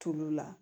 Tulu la